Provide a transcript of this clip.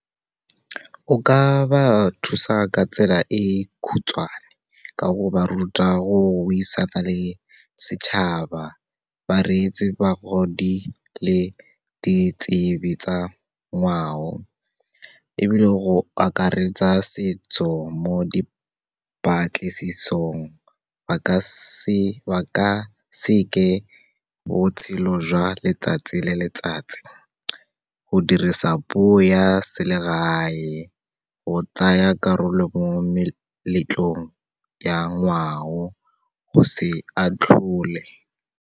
O ka ba thusa ka tsela e khutshwane, ka go ba ruta go buisana le setšhaba, ba reetse bagodi le ditsebi tsa ngwao. Ebile, go akaretsa setso mo di dipatlisisong ba ka seke botshelo jwa letsatsi le letsatsi, go dirisa puo ya selegae, go tsaya karolo mo meletlong ya ngwao, go se atlhole.